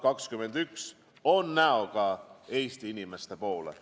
See eelarve on näoga Eesti inimeste poole.